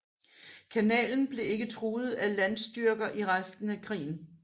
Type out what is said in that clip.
Kanalen blev ikke truet af landstyrker i resten af krigen